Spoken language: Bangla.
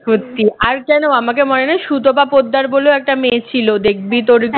সত্যি আর যেন আমাকে মনে নেই সুতপা পোদ্দার বলেও একটা মেয়ে ছিল দেখবি তোর